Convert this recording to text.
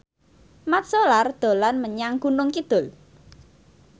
Mat Solar dolan menyang Gunung Kidul